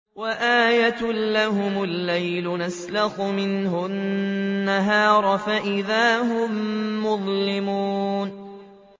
وَآيَةٌ لَّهُمُ اللَّيْلُ نَسْلَخُ مِنْهُ النَّهَارَ فَإِذَا هُم مُّظْلِمُونَ